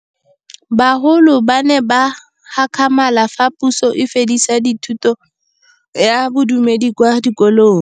Bagolo ba ne ba gakgamala fa Pusô e fedisa thutô ya Bodumedi kwa dikolong.